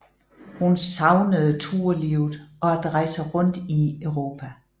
Hun savnede tourlivet og at rejse rundt i Europa